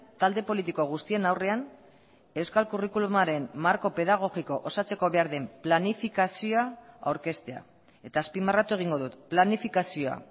talde politiko guztien aurrean euskal curriculumaren marko pedagogiko osatzeko behar den planifikazioa aurkeztea eta azpimarratu egingo dut planifikazioa